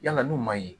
Yala n'u ma ye